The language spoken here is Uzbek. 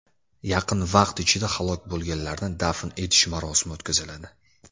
Yaqin vaqt ichida halok bo‘lganlarni dafn etish marosimi o‘tkaziladi.